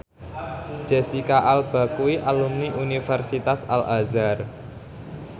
Jesicca Alba kuwi alumni Universitas Al Azhar